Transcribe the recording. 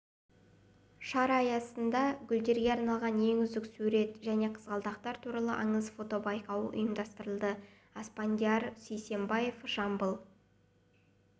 шара аясында гүлдерге арналған ең үздік сурет және қызғалдақтар туралы аңыз фотобайқауы ұйымдастырылды аспандияр сейсебаев жамбыл